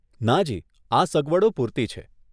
નાજી, આ સગવડો પૂરતી છે.